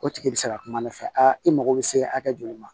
O tigi bi se ka kuma ne fɛ aa i mago bɛ se hakɛ joli ma